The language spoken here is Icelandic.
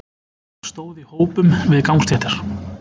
Fólk stóð í hópum við gangstéttar.